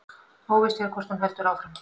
Óvíst er hvort hún heldur áfram